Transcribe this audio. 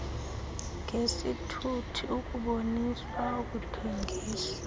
ngesithuthi ukuboniswa ukuthengiswa